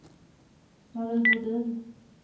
Mari Bodin